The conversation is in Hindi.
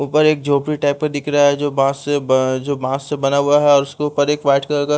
ऊपर एक जोपरी टाइप का दिख रहा है जो बांस से जो बांस से बना हुआ है और उसके ऊपर एक वाइट कलर का --